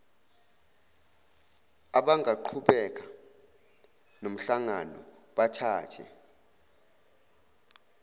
abangaqhubeka nomhlangano bathathe